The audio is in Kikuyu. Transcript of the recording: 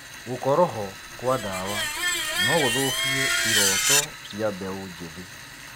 Gũkorwo ho kwa ndawa no gũthũkie irooto cia mbeũ njĩthĩ.